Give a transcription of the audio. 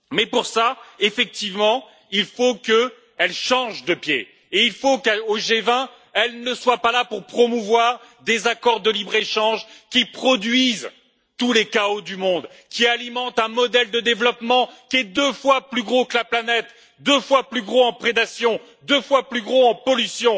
Pour cela, il faut qu'elle change de pied et qu'au G20, elle ne soit pas là pour promouvoir des accords de libre échange qui produisent tous les chaos du monde et qui alimentent un modèle de développement deux fois plus gros que la planète, deux fois plus gros en prédation et deux fois plus gros en pollution.